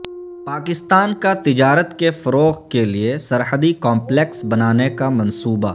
پاکستان کا تجارت کے فروغ کے لیے سرحدی کمپلیکس بنانے کا منصوبہ